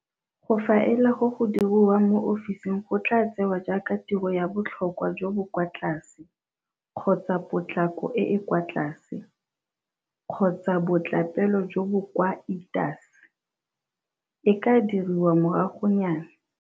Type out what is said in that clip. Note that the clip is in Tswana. Go faela go go dirwang mo ofising go tlaa tsewa jaaka tiro ya botlhokwa jo bo kwa tlase-potlako e e kwa tlase, kgotsa botlapele jo bo kwa ltase, e ka dirwa moragonyana.